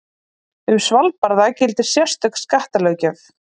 Um Svalbarða gildir sérstök skattalöggjöf.